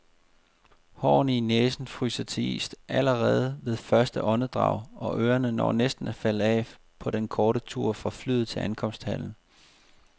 Hårene i næsen fryser til is allerede ved første åndedrag, og ørerne når næsten at falde af på den korte tur fra flyet til ankomsthallen.